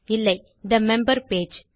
இல்லை the member page